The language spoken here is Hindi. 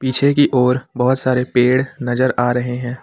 पीछे की और बहुत सारे पेड़ नजर आ रहे हैं।